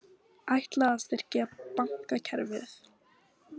Ætlað að styrkja bankakerfið